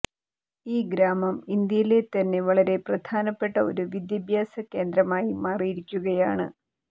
ഈ ഗ്രാമം ഇന്ത്യയിലെത്തന്നെ വളരെ പ്രധാനപ്പെട്ട ഒരു വിദ്യാഭ്യാസ കേന്ദ്രമായി മാറിയിരിക്കയാണ്